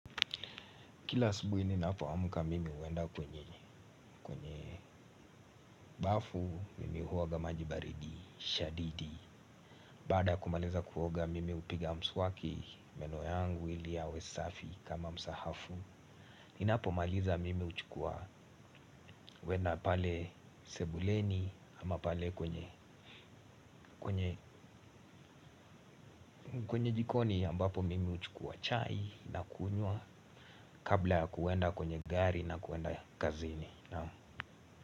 Kila asubuhi ninapoamka mimi huenda kwenye kwenye bafu, mimi huoga maji baridi, shadidi. Baada kumaliza kuoga mimi hupiga mswaki, meno yangu ili yawe safi kama msahafu. Ninapomaliza mimi huchukua kuenda pale sebuleni ama pale kwenye kwenye jikoni ambapo mimi huchukua chai na kunywa kabla ya kuenda kwenye gari na kuenda kazini.